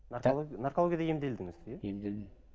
наркологияда емделдіңіз иә емделдім